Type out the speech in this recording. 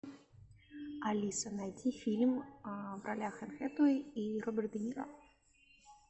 алиса найди фильм в ролях энн хэтэуэй и роберт де ниро